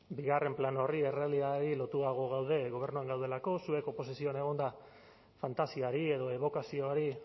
bigarren plano horri errealitateari lotuago gaude gobernuan gaudelako zuek oposizioan egonda fantasiari edo ebokazioari